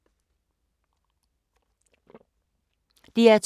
DR2